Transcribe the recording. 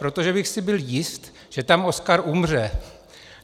Protože bych si byl jist, že tam Oskar umře.